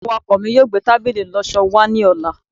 awakọ mi yíò gbe tábìlì ìloso wa ni ọla